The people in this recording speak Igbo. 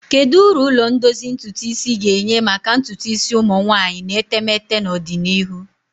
Kedu uru ụlọ ndozi ntutu isi ga-enye maka ntutu isi ụmụ nwanyị na etemeete n'ọdịnihu?